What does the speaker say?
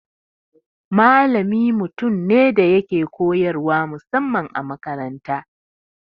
Malami mutum ne da yake koyarwa musamman a makaranta.